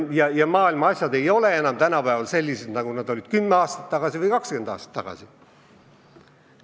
Asjad maailmas ei ole tänapäeval sellised, nagu need olid kümme aastat tagasi või kakskümmend aastat tagasi.